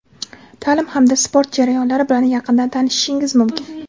taʼlim hamda sport jarayonlari bilan yaqindan tanishishingiz mumkin.